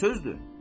Nə sözdür?